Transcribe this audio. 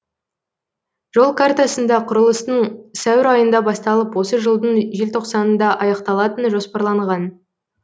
жол картасында құрылыстың сәуір айында басталып осы жылдың желтоқсанында аяқталатыны жоспарланған